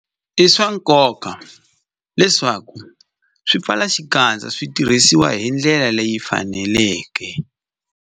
I swa nkoka leswaku swipfalaxikandza swi tirhisiwa hi ndlela leyi faneleke.